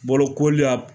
Bolokoli a